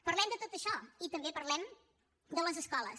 parlem de tot això i també parlem de les escoles